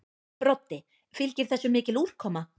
Broddi: Fylgir þessu mikil úrkoma?